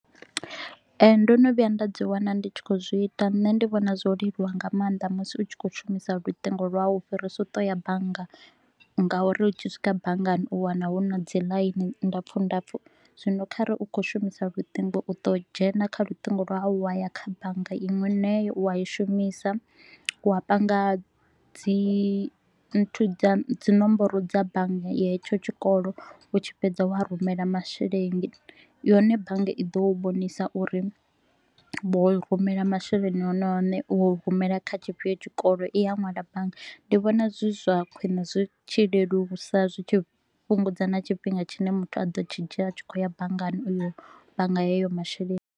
Ee, ndo no vhuya nda dzi wana ndi tshi kho u zwi ita, nṋe ndi vhona zwo leluwa nga maanḓa musi u tshi kho u shumisa luṱingo lwau u fhirisa u to u ya banngani ngauri u tshi swika banngani, u wana hu na dzi ḽaini ndapfu ndapfu. Zwino khare u kho u shumisa luṱingo u to u dzhena kha lutingo lwau wa ya kha bannga iṅwe i ne wa i shumisa, wa panga dzi nthu dza dzi nomboro dza bannga, hetsho tshikolo u tshi fhedza wa rumela masheleni, yone bannga i ḓo u vhonisa uri vho rumela masheleni one one. Vho rumela kha tshifhio tshikolo, i a ṅwala bannga, ndi vhona zwi zwa khwiṋe zwi tshi lelusa zwi tshi fhungudza na tshifhinga tshine muthu a ḓo tshi dzhia a tshi kho u ya banngani uyo bannga hayo masheleni